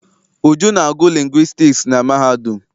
Uju na-agụ lingwistiks na mahadum.